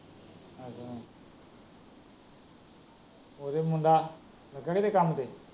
ਉਹਦਾ ਮੁੰਡਾ ਲੱਗਾ ਨਹੀਂ ਕੀਤੇ ਕੰਮ ਤੇ।